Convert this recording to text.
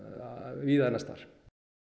víða annars staðar